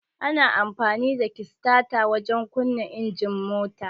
Ana amfani da kistata wajen kunna injin mota.